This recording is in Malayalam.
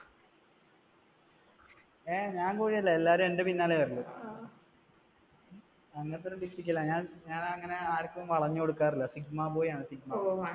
അഹ് ഞാൻ കോഴി അല്ല എല്ലാവരും എന്റെ പിന്നാലെ വരുള്ളൂ ഞാൻ അങ്ങനെ ആർക്കും വളഞ്ഞു കൊടുക്കാറില്ല sigma boy ആണ് sigma boy, ഓ